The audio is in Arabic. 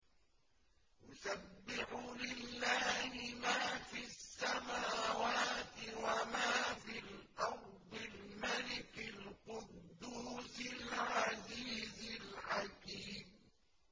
يُسَبِّحُ لِلَّهِ مَا فِي السَّمَاوَاتِ وَمَا فِي الْأَرْضِ الْمَلِكِ الْقُدُّوسِ الْعَزِيزِ الْحَكِيمِ